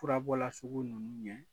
Furabɔla sugu ninnu ɲɛ